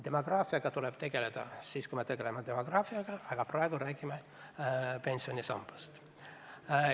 Demograafiaga tuleb tegeleda siis, kui me tegeleme demograafiaga, aga praegu räägime pensionisambast.